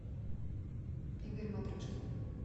игорь матрешкин